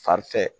Fanfɛ